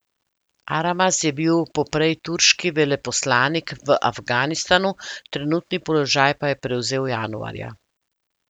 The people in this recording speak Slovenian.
Aramaz je bil poprej turški veleposlanik v Afganistanu, trenutni položaj pa je prevzel januarja.